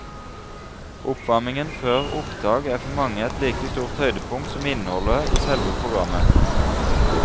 Oppvarmingen før opptak er for mange et like stort høydepunkt som innholdet i selve programmet.